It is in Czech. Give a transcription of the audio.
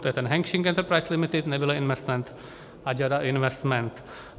To je ten Hengxin Enterprises Limited, NEVILLE Investment a JADA Investment.